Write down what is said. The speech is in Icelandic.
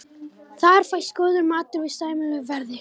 Þar fæst góður matur við sæmilegu verði.